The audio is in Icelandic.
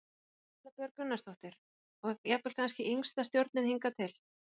Erla Björg Gunnarsdóttir: Og jafnvel kannski yngsta stjórnin hingað til?